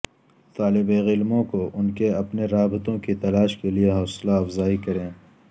طالب علموں کو ان کے اپنے رابطوں کی تلاش کے لئے حوصلہ افزائی کریں